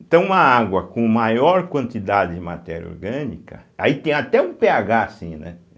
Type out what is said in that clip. Então uma água com maior quantidade de matéria orgânica, aí tem até um pêagá assim, né?